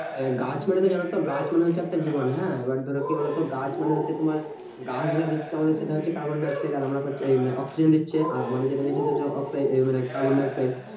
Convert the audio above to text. গাছ মানে তো জানোতো গাছ মানে হচ্ছে একটা জীবন হ্যাঁ? এবার ধরো কি বলোতো? গাছ মানে হচ্ছে তোমার গাছ যা দিচ্ছে আমাদের সেটা হচ্ছে carbon dioxide আর আমরা পাচ্ছি এই oxygen দিচ্ছে। আর আমাদের যেটা নিচ্ছে সেটা oxide এই মানে carbon dioxide.